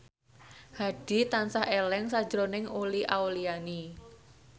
Hadi tansah eling sakjroning Uli Auliani